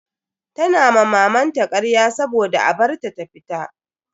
Tana ma mamanta karya saboda a bar ta ta fita.